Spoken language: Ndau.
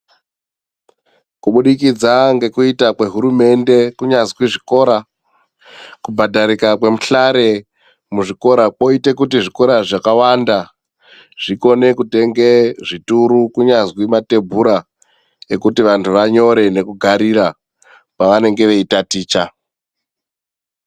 Kubudikidza ngekuita kwehurumende kunyazwi zvikora, kubhadharika kwemihlare muzvikora kwoite kuti zvikora zvakawanda, zvikone kutenge zvituru ,kunyazi nemathebhura, ekuti vanhu vanyore nekugarira.